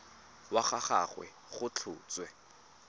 wa ga gagwe go tlhotswe